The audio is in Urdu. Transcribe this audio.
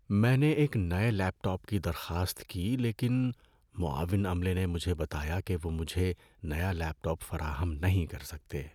میں نے ایک نئے لیپ ٹاپ کی درخواست کی لیکن معاون عملے نے مجھے بتایا کہ وہ مجھے نیا لیپ ٹاپ فراہم نہیں کر سکتے۔